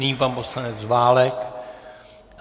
Nyní pan poslanec Válek.